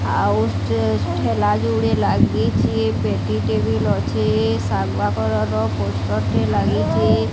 ଆଉଟେ ଠେଲା ଜୋଡ଼ିଏ ଲାଗିଛି ପେଟି ଟେ ବି ଲ ଅଛେ ଶାଗୁଆ କଲର୍ ର ପୋଷ୍ଟର ଟିଏ ଲାଗିଚେ ।